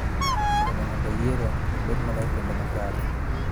Konyo mondo yiero obed maler kendo ma kare.